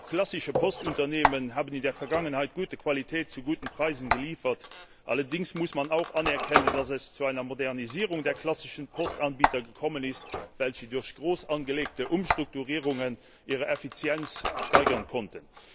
Auch klassische Postunternehmen haben in der Vergangenheit gute Qualität zu guten Preisen geliefert. Allerdings muss man auch anerkennen, dass es zu einer Modernisierung der klassischen Postanbieter gekommen ist, welche durch groß angelegte Umstrukturierungen ihre Effizienz steigern konnten.